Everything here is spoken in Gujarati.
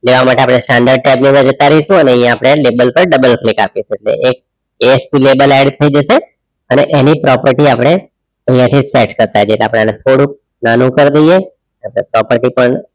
લેવા માટે આપણે standard teb લેવા જતા રહીશુંઅને અહીંયા આપણે label પર double click આપીશું ASP lable add થઈ જશે અને એની property આપણે અહીંયાથી tax કરતા જઈએ એટલે આપણે આને થોડુંક નાનું કર દઈએ property પણ